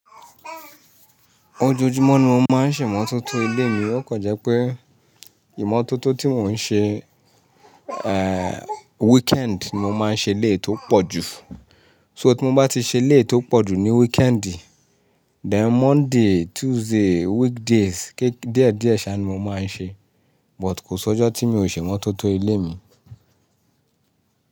Ojoojúmọ́ ni mo máa ń ṣẹ̀mọ́tótó ilé mi, ọ̀kan jẹ́ pé ìmótótó tí mò ń ṣe, eh, weekend ni mo máa ń ṣe ilé tó pọ̀ jù. So tí mo bá ti ṣe ilé tó pọ̀ jù ní weekendì, then Monday, Tuesday, weekdays ké-- díẹ̀ díẹ̀ sá ni mo máa ń ṣe, but kò sọ́jọ́ tí mi ò ṣẹ̀mọ́tótó ilé mi.